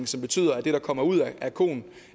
som betyder at det der kommer ud af koen